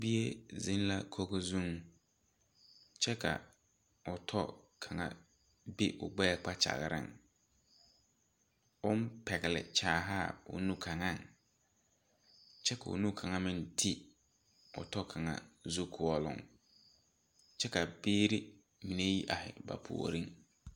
Bie zeng la kogo zung kye ka ɔ tɔ kanga be ɔ gbeɛɛ kpakyagaring ɔn pɛgli kyaahaa koo nu kanga kye ka ɔ nu kanga meng te ɔ tɔ kanga zukuolong kye ka biiri meng arẽ ba poɔring.